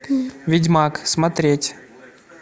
ведьмак смотреть